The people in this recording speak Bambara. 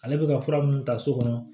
Ale bɛ ka fura minnu ta so kɔnɔ